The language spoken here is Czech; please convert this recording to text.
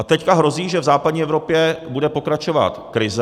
A teď hrozí, že v západní Evropě bude pokračovat krize.